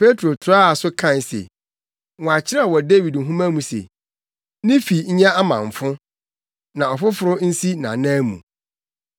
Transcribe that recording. Petro toaa so kae se, “Wɔakyerɛw wɔ Dawid nhoma mu se, “ ‘Ne fi nyɛ amamfo, na ɔfoforo nsi nʼanan mu.’